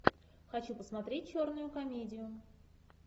хочу посмотреть черную комедию